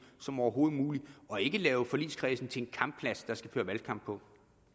som overhovedet muligt og ikke lave forligskredsen til en kampplads der skal føres valgkamp på